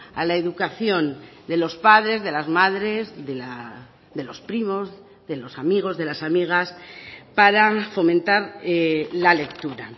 a la educación de los padres de las madres de los primos de los amigos de las amigas para fomentar la lectura